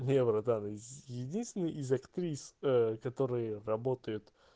не братан единственные из актрис ээ которые работают